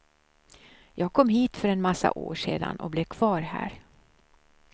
Jag kom hit för en massa år sedan och blev kvar här.